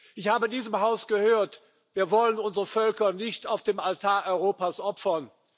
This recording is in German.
Ich habe in diesem Haus gehört Wir wollen unsere Völker nicht auf dem Altar Europas opfern.